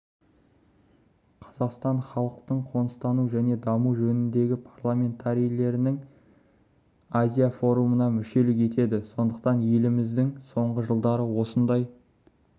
қазақстан халықтың қоныстануы және дамуы жөніндегі парламентарийлерінің азия форумына мүшелік етеді сондықтан еліміздің соңғы жылдары осындай